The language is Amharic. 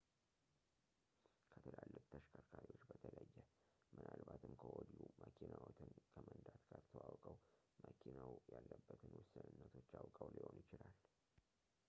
ከትላልቅ ተሽከርካሪዎች በተለየ ምናልባትም ከወዲሁ መኪናዎትን ከመንዳት ጋር ተዋውቀው መኪናው ያለበትን ውስንነቶች አውቀው ሊሆን ይችላል